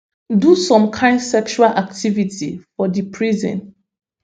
do some kain sexual activity for di prison